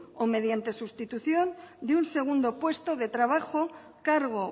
o mediante sustitución de un segundo puesto de trabajo cargo